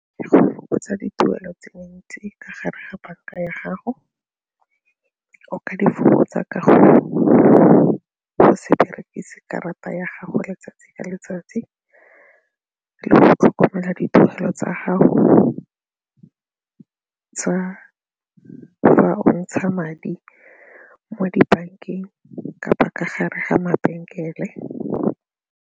Go fokotsa dituelo tse ntsi ka gare ga banka ya gago o ka di fokotsa ka go se berekise karata ya gago letsatsi le letsatsi le go tlhokomela dipoelo tsa gago tsa fa o ntsha madi mo dibankeng kapa ka gare ga mabenkele.